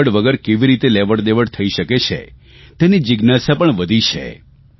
રોકડ વગર કેવી રીતે લેવડદેવડ થઇ શકે છે તેની જીજ્ઞાસા પણ વધી છે